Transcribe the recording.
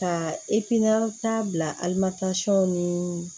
Ka taa bila alimɛtini